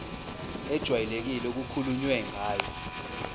ejwayelekile okukhulunywe ngayo